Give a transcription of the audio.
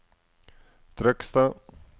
Trøgstad